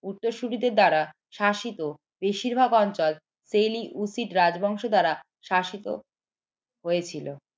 উত্তরসূরিদের দ্বারা শাসিত বেশিরভাগ অঞ্চল রাজবংশ দ্বারা শাসিত হয়েছিল